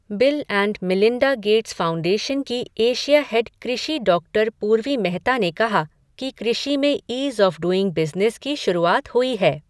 Bill and Melinda Gates Foundation की Asia head कृषि doctor Purvi Mehta ने कहा कि कृषि में ईज़ आफ़ डूइंग बिज़नेस की शुरूआत हुई है।